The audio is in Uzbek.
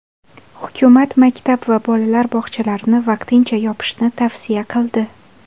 Hukumat maktab va bolalar bog‘chalarini vaqtincha yopishni tavsiya qildi.